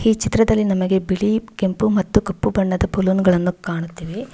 ಈ ಚಿತ್ರದಲ್ಲಿ ನಮಗೆ ಬಿಳಿ ಕೆಂಪು ಮತ್ತು ಕಪ್ಪು ಬಣ್ಣದ ಬಲೂನ್ ಗಳನ್ನು ಕಾಣುತ್ತಿವೆ.